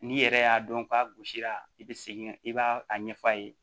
N'i yɛrɛ y'a dɔn k'a gosira i bɛ segin i b'a a ɲɛf'a ye